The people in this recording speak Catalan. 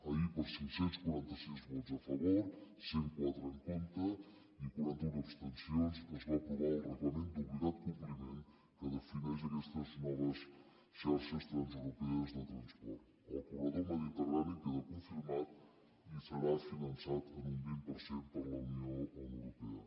ahir per cinc cents i quaranta sis vots a favor cent i quatre en contra i quaranta un abstencions es va aprovar el reglament d’obligat compliment que defineix aquestes noves xarxes transeuropees de transport el corredor mediterrani queda confirmat i serà finançat en un vint per cent per la unió europea